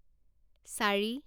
চাৰি